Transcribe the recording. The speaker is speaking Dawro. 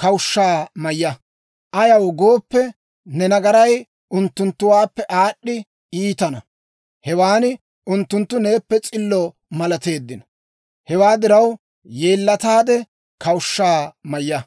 kawushshaa mayya. Ayaw gooppe, ne nagaray unttunttuwaappe aad'd'i iitina, hewan unttunttu neeppe s'illo malateeddino. Hewaa diraw, yeellataade, kawushshaa mayya.